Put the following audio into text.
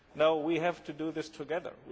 No, we have to do this together.